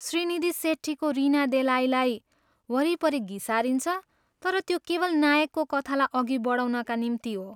श्रीनिधी सेट्टीको रिना देलाईलाई वरिपरि घिसारिन्छ तर त्यो केवल नायकको कथालाई अघि बढाउनका निम्ति हो।